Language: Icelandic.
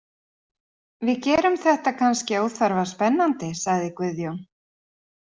Við gerum þetta kannski óþarfa spennandi, sagði Guðjón.